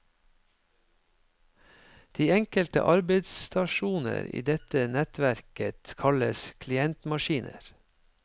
De enkelte arbeidsstasjoner i dette nettverket kalles klientmaskiner.